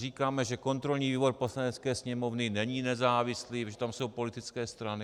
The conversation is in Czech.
Říkáme, že kontrolní výbor Poslanecké sněmovny není nezávislý, protože tam jsou politické strany.